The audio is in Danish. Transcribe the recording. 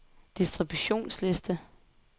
distributionsliste